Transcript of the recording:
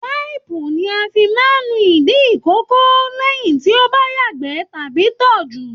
Waipù ní a fí máa n nu ìdí ikòkò lẹyìn tí o bá yagbẹ tàbí tọ̀ jù.